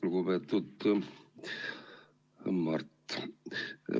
Lugupeetud, Mart!